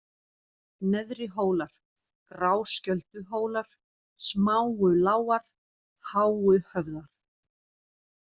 Neðrihólar, Gráskjölduhólar, Smáulágar, Háuhöfðar